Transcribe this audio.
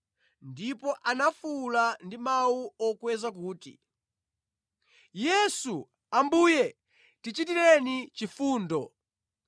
ndipo anafuwula ndi mawu okweza kuti, “Yesu, Ambuye, tichitireni chifundo!”